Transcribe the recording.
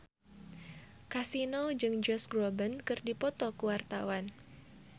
Kasino jeung Josh Groban keur dipoto ku wartawan